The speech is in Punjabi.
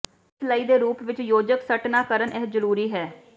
ਇਸ ਲਈ ਦੇ ਰੂਪ ਵਿੱਚ ਯੋਜਕ ਸੱਟ ਨਾ ਕਰਨ ਇਹ ਜ਼ਰੂਰੀ ਹੈ